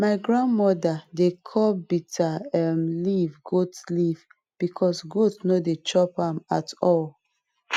my grand mother dey call bitter um leaf goat leaf because goat no dey chop am at all